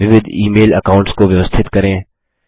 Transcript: विविध email accounts को व्यवस्थित करें